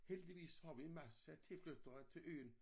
Heldigvis har vi en masse tilflyttere til øen